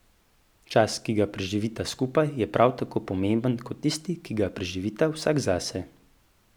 Čas, ki ga preživita skupaj, je prav tako pomemben kot tisti, ki ga preživita vsak zase.